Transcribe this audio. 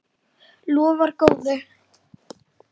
Lofar góðu!